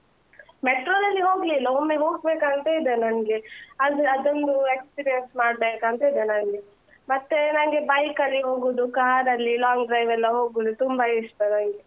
Metro ದಲ್ಲಿ ಹೋಗ್ಲಿಲ್ಲ ಒಮ್ಮೆ ಹೋಗ್ಬೇಕಂತ ಇದೆ ನನ್ಗೆ ಅಂದ್ರೆ ಅದೊಂದೂ experience ಮಾಡ್ಬೇಕಂತ ಇದೆ ನನ್ಗೆ, ಮತ್ತೇ ನಂಗೆ bike ಅಲ್ಲಿ ಹೋಗುದು, car ರಲ್ಲಿ long drive ಎಲ್ಲ ಹೋಗುದು ತುಂಬ ಇಷ್ಟ ನಂಗೆ. so ಹಾಗೆ, ಮತ್ತೆ ನಿಮ್ಗೆ ಯಾವ್ದೆಲ್ಲ drive ಇಷ್ಟ?